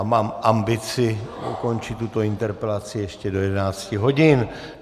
A mám ambici ukončit tuto interpelaci ještě do 11 hodin.